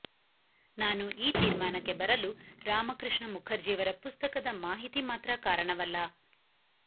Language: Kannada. ನಾನು ಈ ತೀರ್ಮಾನಕ್ಕೆ ಬರಲು ರಾಮಕೃಷ್ಣ ಮುಖರ್ಜಿಯವರ ಪುಸ್ತಕದ ಮಾಹಿತಿ ಮಾತ್ರ ಕಾರಣವಲ್ಲ